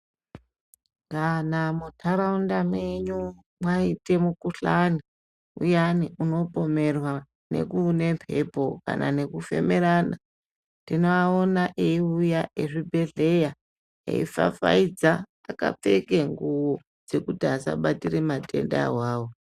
Kana mundaraunda menyu mwaite mukuhlani uyani unopomerwa nekune mbepo kana nekufemerana tinoaona eiuya ezvibhedhlera eipfapfaidza akapfeka ngubo dzekuti asabatira matenda awawo.